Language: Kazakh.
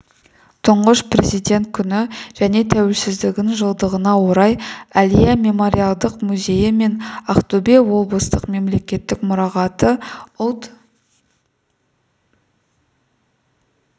тұңғыш президент күні және тәуелсіздігінің жылдығына орай әлия мемориалдық музейі мен ақтөбе облыстық мемлекеттік мұрағаты ұлт